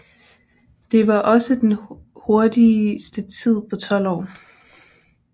Det var også den hurtigste tid på tolv år